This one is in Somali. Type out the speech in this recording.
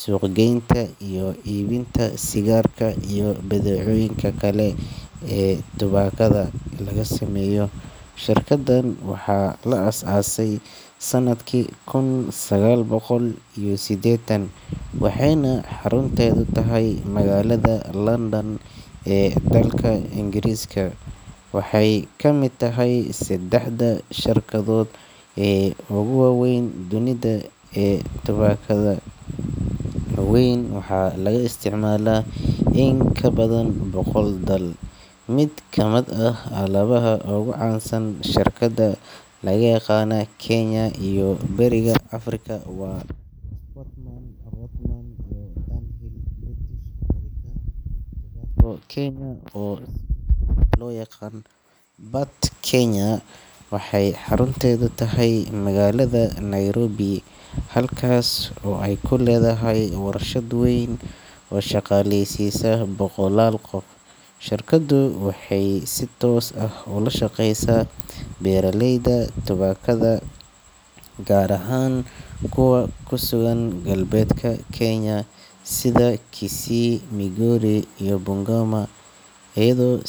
suuqgeynta iyo iibinta sigaarka iyo badeecooyinka kale ee tubaakada laga sameeyo. Shirkaddan waxaa la aasaasay sanadkii kun sagaal boqol iyo siddeetan, waxayna xarunteedu tahay magaalada London ee dalka Ingiriiska. Waxay ka mid tahay saddexda shirkadood ee ugu waaweyn dunida ee tubaakada, iyadoo alaabteeda laga isticmaalo in ka badan boqol dal. Mid ka mid ah alaabada ugu caansan ee shirkaddan laga yaqaan Kenya iyo bariga Afrika waa Sportsman, Rothmans iyo Dunhill. British American Tobacco Kenya, oo sidoo kale loo yaqaan BAT Kenya, waxay xarunteedu tahay magaalada Nairobi, halkaas oo ay ku leedahay warshad weyn oo shaqaaleysiisa boqolaal qof. Shirkaddu waxay si toos ah ula shaqeysaa beeraleyda tubaakada, gaar ahaan kuwa ku sugan galbeedka Kenya sida Kisii, Migori iyo Bungoma, iyagoo sii.